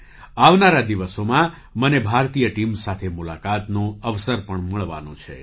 આવનારા દિવસોમાં મને ભારતીય ટીમ સાથે મુલાકાતનો અવસર પણ મળવાનો છે